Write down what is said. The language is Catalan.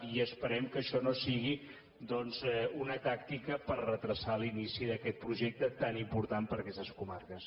i esperem que això no sigui doncs una tàctica per endarrerir l’inici d’aquest projecte tan important per a aquestes comarques